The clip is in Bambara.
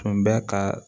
Tun bɛ ka